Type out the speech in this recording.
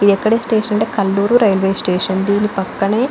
ఇది ఎక్కడ అంటే కల్లూరు రైల్వే స్టేషన్ దీని పక్కనే --